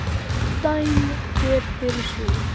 Dæmi hver fyrir sig